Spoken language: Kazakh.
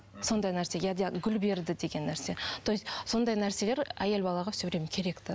сондай нәрсе гүл берді деген нәрсе то есть сондай нәрселер әйел балаға все время керек те